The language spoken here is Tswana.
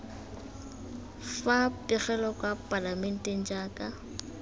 fa pegelo kwa palamenteng jaaka